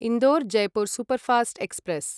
Indore Jaipur superfast express